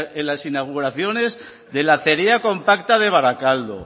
las inauguraciones de la acería compacta de barakaldo